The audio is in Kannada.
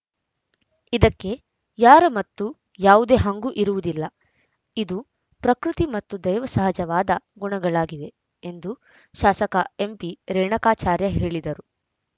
ಇದಕ್ಕೆ ಯಾರ ಮತ್ತು ಯಾವುದೇ ಹಂಗು ಇರುವುದಿಲ್ಲ ಇದು ಪ್ರಕೃತಿ ಮತ್ತು ದೈವ ಸಹಜವಾದ ಗುಣಗಳಾಗಿವೆ ಎಂದು ಶಾಸಕ ಎಂಪಿರೇಣಕಾಚಾರ್ಯ ಹೇಳಿದರು